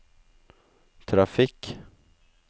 trafikk